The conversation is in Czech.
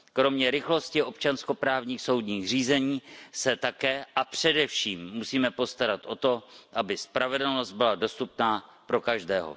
Kromě rychlosti občanskoprávních soudních řízení se také a především musíme postarat o to, aby spravedlnost byla dostupná pro každého.